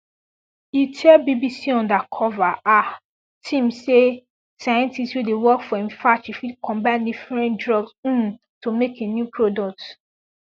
e tell bbc undercover ahh team say scientists wey dey work for im factory fit combine different drugs um to make a new product